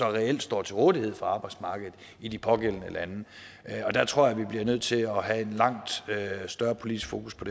reelt står til rådighed for arbejdsmarkedet i de pågældende lande jeg tror vi bliver nødt til at have et langt større politisk fokus på